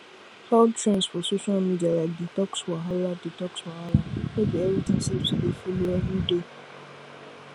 health trends for social media like detox wahala detox wahala no be everything safe to dey follow every day